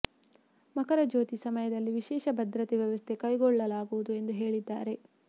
ಮಕರ ಜ್ಯೋತಿ ಸಮಯದಲ್ಲಿ ವಿಶೇಷ ಭದ್ರತೆ ವ್ಯವಸ್ಥೆ ಕೈಗೊಳ್ಳಲಾಗುವುದು ಎಂದು ಹೇಳಿದ್ದಾರೆ